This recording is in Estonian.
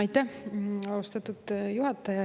Aitäh, austatud juhataja!